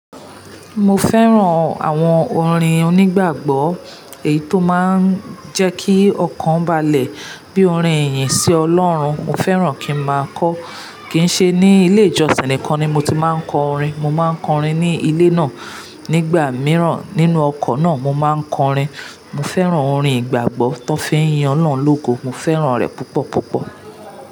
Mo fẹ́ràn àwọn orin onígbàgbọ́, èyí tó máa ń jẹ́ kí ọkàn balẹ̀ bí orin ìyìn sí Ọlọ́run. Mo fẹ́ràn kí n máa kọ. Kì í ṣe ní ilé ìjọsìn nìkan ni mo ti máa ń kọ orin. Mo máa ń kọ orin ní ilé náà. Nígbà mìíràn nínú ọkọ̀ náà, mo máa ń kọ orin. Mo fẹ́ràn orin ìgbàgbọ́ tí wọn fin yin olohun ológo. Mo fẹ́ràn rẹ̀ púpọ̀ púpọ̀.